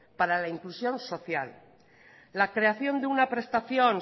para la inclusión social la creación de un prestación